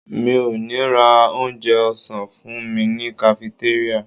Mi ò ní ra onjẹ ọ̀sán fúnmi ní kafitéríà.